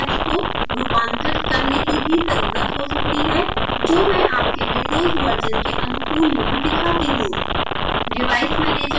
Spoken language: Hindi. आपको उन स्टेप्स को रूपांतरित करने की भी ज़रुरत हो सकती है जो मैं आपके विंडोज़ वर्शन के अनुकूल यहाँ दिखाती हूँ